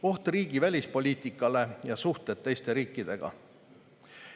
Oht riigi välispoliitikale ja suhted teiste riikidega.